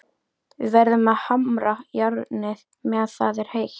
Við verðum að hamra járnið meðan það er heitt.